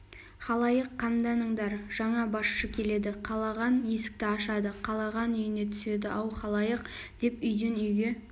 халайық қамданыңдар жаңа басшы келеді қалаған есікті ашады қалаған үйіне түседі ау халайық деп үйден-үйге